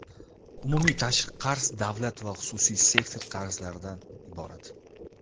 Umumiy tashqi qarz davlat va xususiy sektor qarzlaridan iborat.